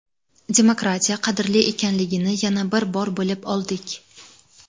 Demokratiya qadrli ekanligini yana bir bor bilib oldik.